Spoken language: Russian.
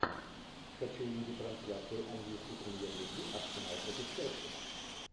хочу увидеть трансляцию английской премьер лиги арсенал против челси